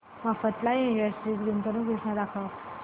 Mafatlal Industries गुंतवणूक योजना दाखव